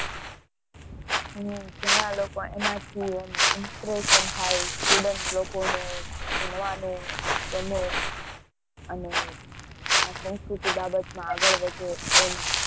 હમ ઘણા લોકો એનાથી, એમ inspiration થાય student લોકોને ભણવાની ગમે અને, અને આ સંસ્કૃતિ બાબતમાં આગળ વધે એમાં